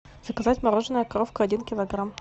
заказать мороженое коровка один килограмм